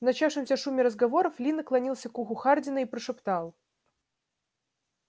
в начавшемся шуме разговоров ли наклонился к уху хардина и прошептал